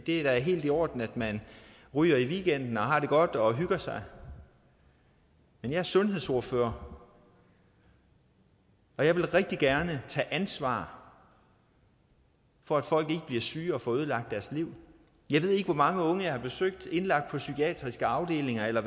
er helt i orden at man ryger i weekenden og har det godt og hygger sig men jeg er sundhedsordfører og jeg vil rigtig gerne tage ansvar for at folk ikke bliver syge og får ødelagt deres liv jeg ved ikke hvor mange unge jeg har besøgt indlagt på psykiatriske afdelinger eller